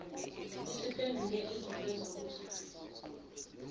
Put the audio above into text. isiphenduke izife zokufa